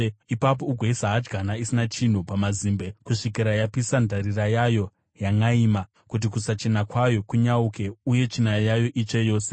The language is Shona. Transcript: Ipapo ugoisa hadyana isina chinhu pamazimbe kusvikira yapisa ndarira yayo yanʼaima kuti kusachena kwayo kunyauke uye tsvina yayo itsve yose.